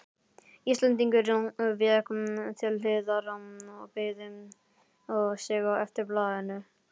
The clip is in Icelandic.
Íslendingurinn vék til hliðar og beygði sig eftir blaðinu.